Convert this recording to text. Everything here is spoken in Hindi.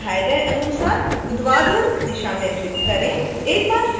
इसे दिखाए गए अनुसार ऊर्ध्वाधर दिशा में फ्लिप करें